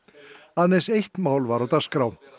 aðeins eitt mál var á dagskrá